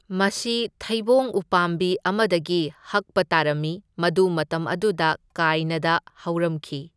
ꯃꯁꯤ ꯊꯩꯕꯣꯡ ꯎꯄꯥꯝꯕꯤ ꯑꯃꯗꯒꯤ ꯍꯛꯄ ꯇꯥꯔꯝꯃꯤ, ꯃꯗꯨ ꯃꯇꯝ ꯑꯗꯨꯗ ꯀꯥꯏꯅꯥꯗ ꯍꯧꯔꯝꯈꯤ꯫